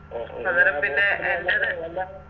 അന്നേരം പിന്നെ എൻറെത്